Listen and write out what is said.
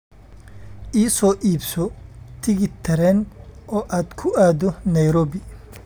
I soo iibso tigidh tareen oo aad ku aado nairobi